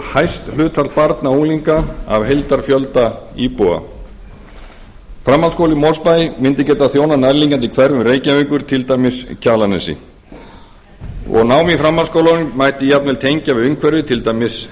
hæst hlutfall barna og unglinga af heildarfjölda íbúa framhaldsskóli í mosfellsbæ mundi geta þjónað nærliggjandi hverfum reykjavíkur til dæmis kjalarnesi og nám í framhaldsskólanum mætt jafnvel tengja við umhverfið til dæmis